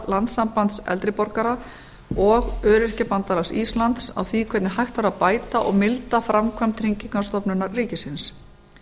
landssambands eldri borgara og öyrkjabandalags íslands á því hvern hægt væri að bæta og milda framkvæmd tryggingastofnunar ríkisins